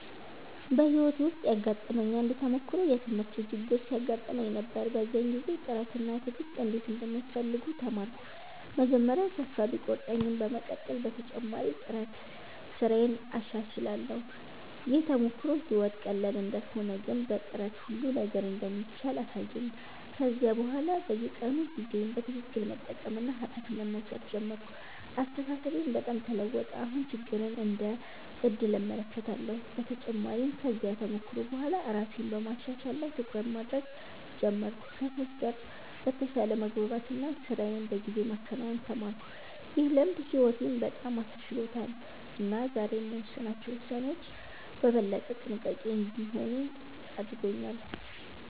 በሕይወቴ ውስጥ ያጋጠመኝ አንድ ተሞክሮ የትምህርት ችግር ሲያጋጥመኝ ነበር። በዚያ ጊዜ ጥረት እና ትዕግሥት እንዴት እንደሚያስፈልጉ ተማርኩ። መጀመሪያ ተስፋ ቢቆርጠኝም በመቀጠል በተጨማሪ ጥረት ስራዬን አሻሽላለሁ። ይህ ተሞክሮ ሕይወት ቀላል እንዳልሆነ ግን በጥረት ሁሉ ነገር እንደሚቻል አሳየኝ። ከዚያ በኋላ በየቀኑ ጊዜዬን በትክክል መጠቀምና ኃላፊነት መውሰድ ጀመርኩ። አስተሳሰቤም በጣም ተለወጠ፤ አሁን ችግርን እንደ ዕድል እመለከታለሁ። በተጨማሪም ከዚያ ተሞክሮ በኋላ ራሴን በማሻሻል ላይ ትኩረት ማድረግ ጀመርኩ፣ ከሰዎች ጋር በተሻለ መግባባት እና ስራዬን በጊዜ ማከናወን ተማርኩ። ይህ ልምድ ሕይወቴን በጣም አሻሽሎታል እና ዛሬ የምወስናቸው ውሳኔዎች በበለጠ ጥንቃቄ እንዲሆኑ አድርጎኛል።